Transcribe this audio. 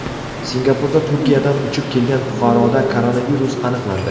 Singapurda Turkiyadan uchib kelgan fuqaroda koronavirus aniqlandi.